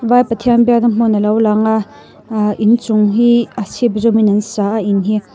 vai pathian biakna hmun alo lang a ehh inchung hi a chhîp zawmin an sa a in hi.